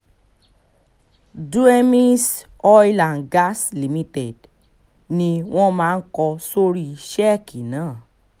duemies oil and gas limited ni wọ́n máa ń kọ sórí sẹ́ẹ̀kì náà